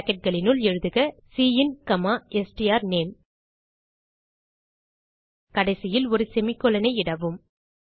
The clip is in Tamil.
bracketகளினுள் எழுதுக சின் ஸ்ட்ரானேம் கடைசியில் ஒரு செமிகோலன் ஐ இடவும்